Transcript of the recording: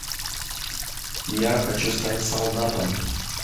я хочу стать солдатом